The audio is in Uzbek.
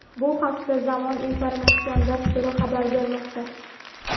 Bu haqda "Zamon" informatsion dasturi xabar bermoqda.